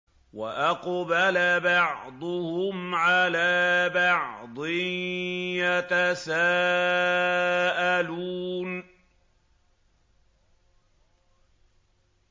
وَأَقْبَلَ بَعْضُهُمْ عَلَىٰ بَعْضٍ يَتَسَاءَلُونَ